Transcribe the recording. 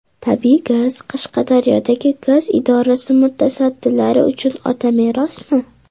Tabiiy gaz Qashqadaryodagi gaz idorasi mutasaddilari uchun otamerosmi?